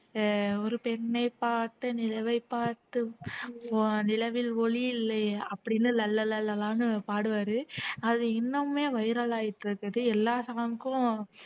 அஹ் ஒரு பெண்ணைப் பார்த்து நிலவை பார்த்து அஹ் நிலவில் ஒளி இல்லையே அப்படின்னு லலலலானு பாடுவாரு அது இன்னுமே வைரல் ஆயிட்டு இருக்குது எல்லா song கும்